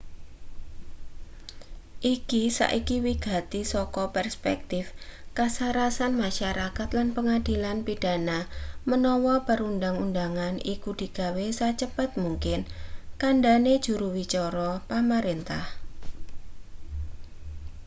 "iki saiki wigati saka perspektif kasarasan masyarakat lan pengadilan pidana menawa perundang-undangan iku digawe sacepet mungkin kandhane juru wicara pamarentah.